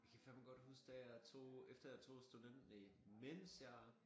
Jeg kan fandme godt huske da jeg tog efter jeg tog student næ mens jeg